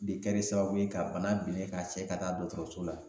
De kɛrɛ sababu ye ka bana bilen k'a cɛ ka taa dɔkɔtɔrɔso la